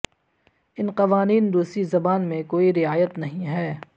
ان قوانین روسی زبان میں کوئی رعایت نہیں ہے